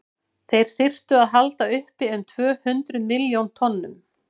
þeir þyrftu að halda uppi um tvö hundruð milljón tonnum